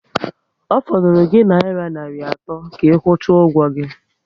Ọ fọdụrụ gi nayira narị atọ ka ikwucha ụgwọ gị